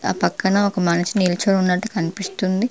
ఆ పక్కన ఒక మనిషి నిల్చోనున్నట్టు కనిపిస్తుంది.